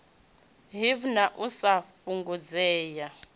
hiv na u sa fhungudzea